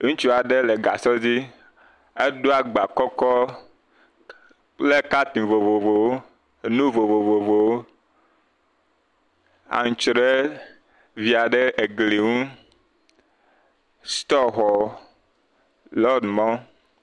Ŋutsu aɖe le gasɔ dzi edo agba kɔkɔ kple katin vovovowo. Enu vovovowo. Antsre via ɖe egli nu. Sutɔxɔ le mɔ. Lɔɖi mɔ.